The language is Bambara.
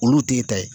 Olu t'i ta ye